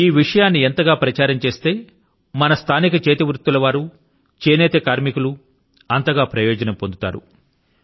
ఈ విషయాన్ని ఎంతగా ప్రచారం చేస్తే మన స్థానిక చేతివృత్తుల వారు చేనేత కార్మికులు అంతగా ప్రయోజనాలను పొందుతారు